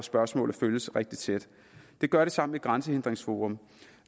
spørgsmålet følges rigtig tæt det gør det sammen med grænsehindringsforum